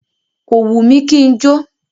Kò wù mí kí n jó.